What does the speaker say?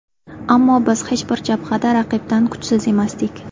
Ammo biz hech bir jabhada raqibdan kuchsiz emasdik.